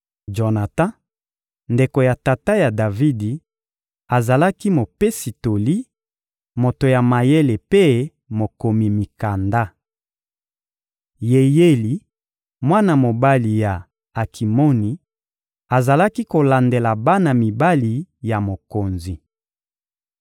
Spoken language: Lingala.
Jonatan, ndeko ya tata ya Davidi, azalaki mopesi toli, moto ya mayele mpe mokomi mikanda. Yeyeli, mwana mobali ya Akimoni, azalaki kolandela bana mibali ya mokonzi.